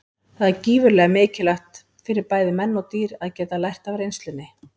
Það er gífurlega mikilvægt fyrir bæði menn og dýr að geta lært af reynslunni.